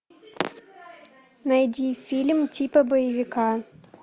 найди фильм типа боевика